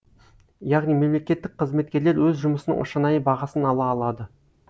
яғни мемлекеттік қызметкерлер өз жұмысының шынайы бағасын ала алады